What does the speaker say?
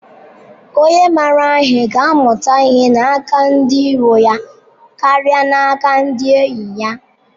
Onye mara ihe ga-amụta ihe n’aka ndị iro ya karịa n’aka ndị enyi ya